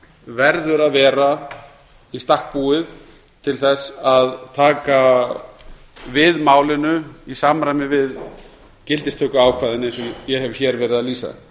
verður að vera í stakk búið til þess að taka við málinu í samræmi við gildistökuákvæðin eins og ég hef hér verið að lýsa